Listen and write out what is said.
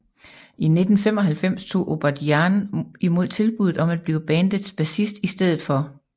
I 1995 tog Odadjian imod tilbuddet om at blive bandets bassist i stedet for